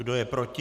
Kdo je proti?